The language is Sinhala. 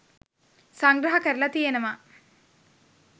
සංග්‍රහ කරලා තියෙනවා.